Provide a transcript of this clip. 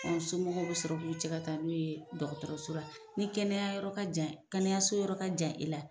somɔgɔw bɛ sɔrɔ k'u cɛ ka taa n'o ye dɔgɔtɔrɔso la, ni kɛnɛya yɔrɔ ka jan kɛnɛyaso yɔrɔ ka jan i la,